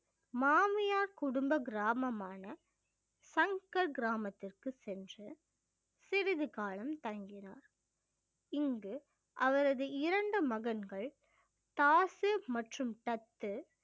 மாமியார் குடும்ப கிராமமான சங்கர் கிராமத்திற்கு சென்று சிறிது காலம் தங்கினார் இங்கு அவரது இரண்டு மகன்கள் தாசு மற்றும் தத்து